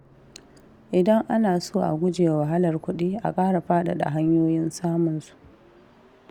Idan ana so a gujewa wahalar kuɗi, a ƙara faɗaɗa hanyoyin samun su.